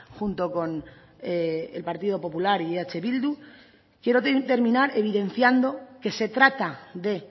junto con el partido popular y eh bildu quiero terminar evidenciando que se trata de